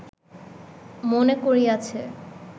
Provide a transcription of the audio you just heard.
মনে করিয়াছে